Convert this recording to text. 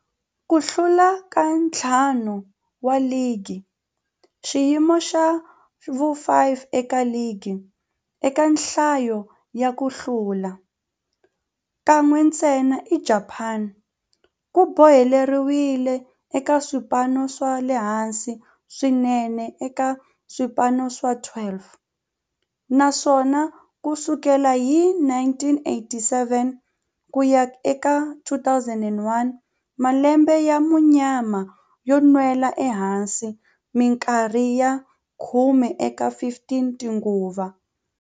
Ku hlula ka ntlhanu wa ligi, xiyimo xa vu-5 eka ligi eka nhlayo ya ku hlula, kan'we ntsena eJapani, ku boheleriwile eka swipano swa le hansi swinene eka swipano swa 12, naswona ku sukela hi 1987 ku ya eka 2001, malembe ya munyama yo nwela ehansi minkarhi ya khume eka 15 tinguva.